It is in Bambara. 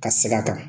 Ka seg'a kan